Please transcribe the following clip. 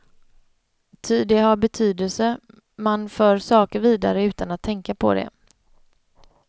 Ty det har betydelse, man för saker vidare utan att tänka på det.